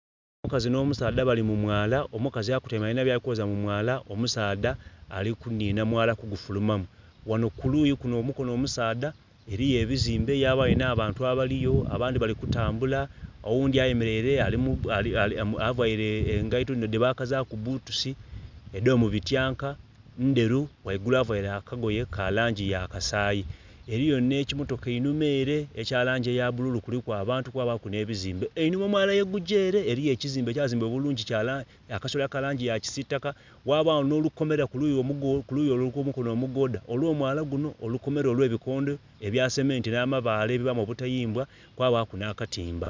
Omukazi nho musaadha bali mu mwala omukazi akutaime alinha bwali kwoza mu mwala, omusaadha ali kunhinha mwala ku gufuluma mu. Ghanho ku luyi lunho ku mukonho omusadha eriyo ebizimbe yabayo nha bantu abaliyo abandhi bali ku tambula oghundhi ayemereire avaire engaito dhino dhe bakazaku butusi edho mu bityanka ndheru ghaigulu avaire olugoye lwa langi ya kasayi. Eriyo nhe kimotoka einhuma ere ekya langi ya bululu kuliku abantu kwabaku nhe bizimbe. Einhuma omwala ye gugya ere eriyo ekizimbe ekya zimbibwa obulungi akasolya ka langi ya kisitaka ghabagho nho lukomera ku luyi lwo kwo mukonho omugodha ogwo mwala gunho olukomera olwe bi kondho ebya sementi nha mabale ebibamu emitayimbwa kwabaku nha katimba.